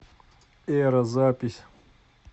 эра запись